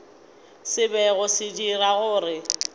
se bego se dira gore